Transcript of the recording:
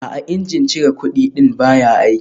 A'a, injin cire kudi ɗin baya aiki